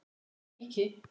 og kíki.